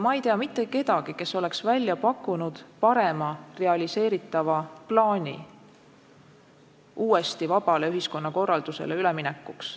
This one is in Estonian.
Ma ei tea mitte kedagi, kes oleks välja pakkunud parema realiseeritava plaani uuesti vabale ühiskonnakorraldusele üleminekuks.